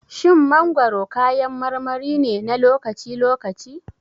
Shin mangwaro kayan marmari ne na lokaci-lokaci?